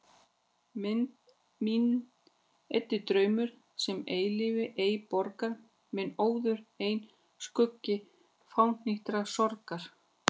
Minn eyddi draumur, sem eilífð ei borgar, minn óður einn skuggi fánýtrar sorgar.